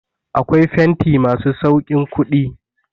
Akwai fenti masu sauƙin kuɗi.